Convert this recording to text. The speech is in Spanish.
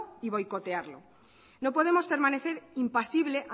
y boicotearlo no podemos permanecer impasible